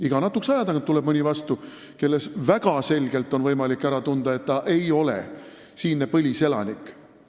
Iga natukese aja tagant tuleb vastu mõni, kelle puhul tunneb selgelt ära, et ta ei ole siinne põliselanik.